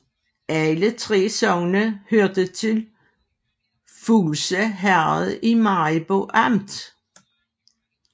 Alle 3 sogne hørte til Fuglse Herred i Maribo Amt